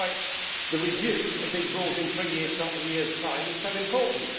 That is why the review of these rules in three years' time is so important.